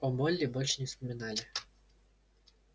о молли больше не вспоминали